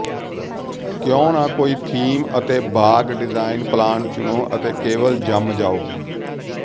ਕਿਉਂ ਨਾ ਕੋਈ ਥੀਮ ਅਤੇ ਬਾਗ਼ ਡਿਜਾਇਨ ਪਲਾਨ ਚੁਣੋ ਅਤੇ ਕੇਵਲ ਜੰਮ ਜਾਓ